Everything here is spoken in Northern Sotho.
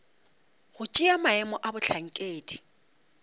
go tšea maemo a bohlankedi